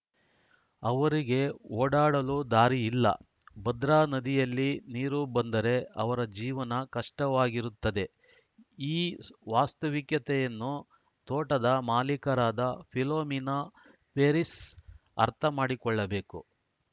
ಅವರಿಗೆ ಓಡಾಡಲು ದಾರಿ ಇಲ್ಲ ಭದ್ರಾ ನದಿಯಲ್ಲಿ ನೀರು ಬಂದರೆ ಅವರ ಜೀವನ ಕಷ್ಟವಾಗಿರುತ್ತದೆ ಈ ವಾಸ್ತವಿಕತೆಯನ್ನು ತೋಟದ ಮಾಲೀಕರಾದ ಫಿಲೋಮಿನಾ ಫೆರಿಸ್‌ ಅರ್ಥ ಮಾಡಿಕೊಳ್ಳಬೇಕು